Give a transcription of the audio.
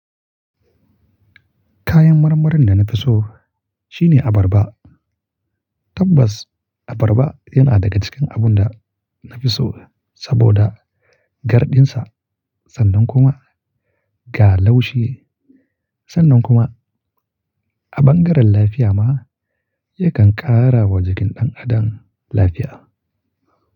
Kayan marmarin da na fi so shine abarba. Tabbas abarba yana daga cikin abun da na fi so saboda garɗinsa sannan kuma ga laushi sannan kuma a bangaren lafiya ma yakan ƙara wa jikin ɗan adam lafiya.